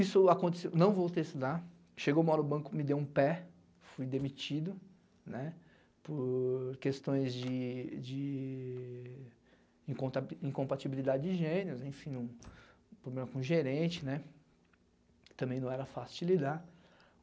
Isso aconteceu, não voltei a estudar, chegou uma hora o banco, me dei um pé, fui demitido, né, por questões de de incom incompatibilidade de genios, enfim, problema com gerente, né, também não era fácil de lidar.